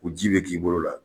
U ji be k'i bolo la